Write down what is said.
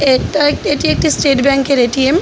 এটা একটি এটি একটি স্টেট ব্যাঙ্ক -এর এ.টি.এম. --